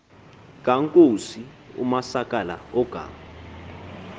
kankosi umasakala ogama